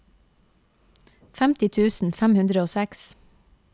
femti tusen fem hundre og seks